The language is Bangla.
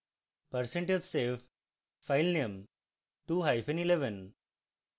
percentage save filename 2 hyphen 11